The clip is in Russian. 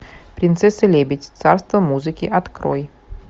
принцесса лебедь царство музыки открой